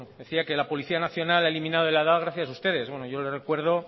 decía que la policía nacional ha eliminado la edad gracias a ustedes bueno yo le recuerdo